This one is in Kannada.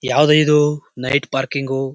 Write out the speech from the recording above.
ಯಾವ್ದೋ ಇದು ನೈಟ್ ಪಾರ್ಕಿಂಗು --